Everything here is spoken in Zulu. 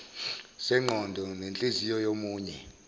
sengqondo nenhliziyo yomunye